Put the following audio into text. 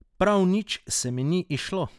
Prav nič se mi ni izšlo.